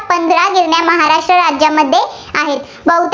गिरण्या महाराष्ट्र राज्यामध्ये आहेत.